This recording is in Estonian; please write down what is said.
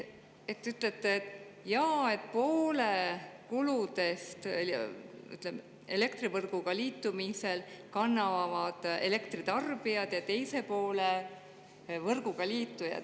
Te ütlete, et jaa, poole kuludest elektrivõrguga liitumisel kannavad elektritarbijad ja teise poole võrguga liitujad.